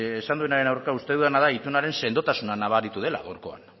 esan duenaren aurka uste dutena da itunaren sendotasuna nabaritu dela gaurkoan